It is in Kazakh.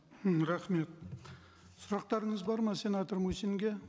м рахмет сұрақтарыңыз бар ма сенатор мусинге